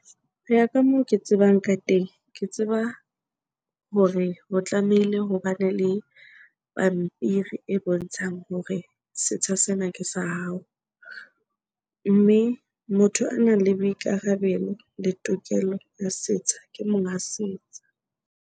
Ho ya ka moo ke tsebang ka teng ke tseba hore ho tlamehile hobane le pampiri e bontshang hore setsha sena ke sa hao. Mme motho a nang le boikarabelo le tokelo la setsha ke monga setsha.